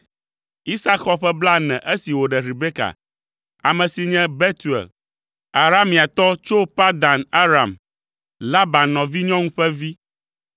Isak xɔ ƒe blaene esi wòɖe Rebeka, ame si nye Betuel, Arameatɔ tso Padan Aram, Laban nɔvinyɔnu ƒe vi.